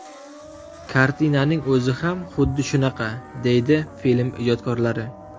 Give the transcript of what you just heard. Kartinaning o‘zi ham xuddi shunaqa”, deydi film ijodkorlari.